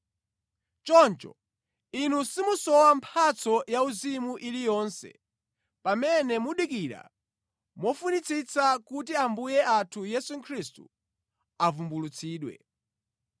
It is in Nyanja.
Choncho inu simusowa mphatso yauzimu iliyonse pamene mukudikira mofunitsitsa kuti Ambuye athu Yesu Khristu avumbulutsidwe.